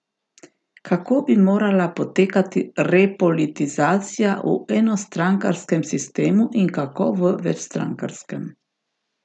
Kako bi morala potekati repolitizacija v enostrankarskem sistemu in kako v večstrankarskem?